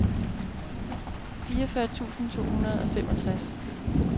fireogfyrre tusind to hundrede og femogtres